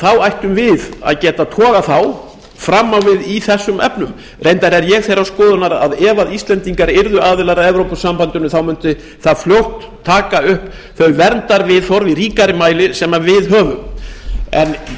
þá ættum við að geta togað þá fram á við í þessum efnum reyndar er ég þeirrar skoðunar að ef íslendingar yrðu aðilar að evrópusambandinu þá mundi það fljótt taka upp þau verndarviðhorf í ríkari mæli sem við höfum ég